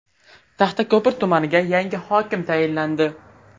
Taxtako‘pir tumaniga yangi hokim tayinlandi.